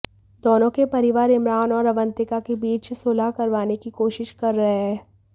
दोनों के परिवार इमरान और अवंतिका के बीच सुलह करवाने की कोशिश कर रहे हैं